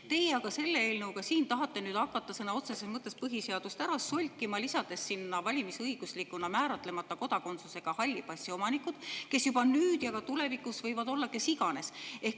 Teie aga selle eelnõuga tahate hakata sõna otseses mõttes põhiseadust ära solkima, lisades sinna valimisõiguslikuna määratlemata kodakondsusega halli passi omanikud, kes nüüd ja ka tulevikus võivad olla kes iganes.